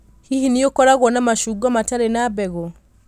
Hihi nĩ ũkoragwo na macungwa matarĩ na mbegũ